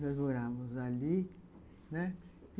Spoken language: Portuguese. Nós morávamos ali, né?